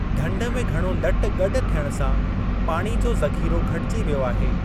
ढंढ में घणो लट गॾु थियणु सां पाणी जो ज़ख़िरो घटिजी वियो आहे।